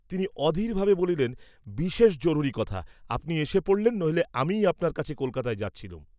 তিনি অধীরভাবে বলিলেন বিশেষ জরুরী কথা, আপনি এসে পড়লেন নইলে আমিই আপনার কাছে কলকাতায় যাচ্ছিলুম।